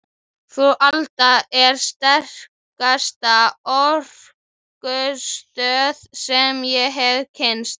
Frú Alda er sterkasta orkustöð sem ég hef kynnst.